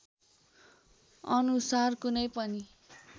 अनुसार कुनै पनि